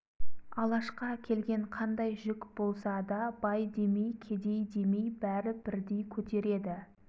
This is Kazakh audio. алашқа келген қандай жүк болса да бай демей кедей демей бәрі бірдей көтереді